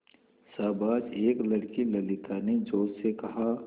शाबाश एक लड़की ललिता ने जोश से कहा